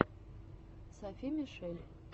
софи мишель